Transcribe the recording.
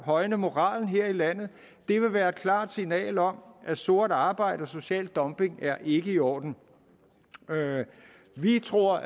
højne moralen her i landet det vil være et klart signal om at sort arbejde og social dumping ikke er i orden vi tror